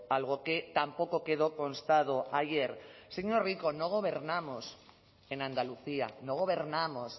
algo que tampoco quedó constado ayer señor rico no gobernamos en andalucía no gobernamos